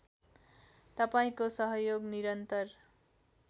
तपाईँंको सहयोगको निरन्तर